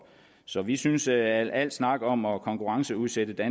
så vi synes at al snak om at konkurrenceudsætte